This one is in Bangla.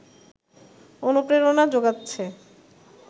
অনুপ্রেরণা জোগাচ্ছে